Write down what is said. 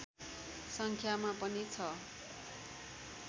सङ्ख्यामा पनि छ